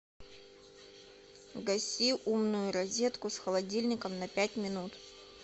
гаси умную розетку с холодильником на пять минут